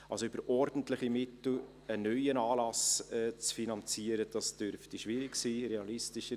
Also: Über ordentliche Mittel einen neuen Anlass zu finanzieren, das dürfte schwierig sein.